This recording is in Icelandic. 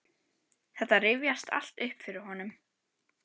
Þetta rifjast allt upp fyrir honum.